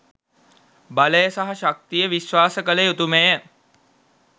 බලය සහ ශක්තිය විශ්වාස කළ යුතුමය.